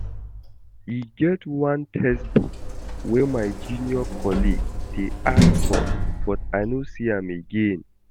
E get one textbook wey my junior colleague dey ask for but I no see am again